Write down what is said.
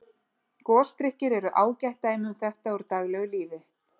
Gosdrykkir eru ágætt dæmi um þetta úr daglegu lífi.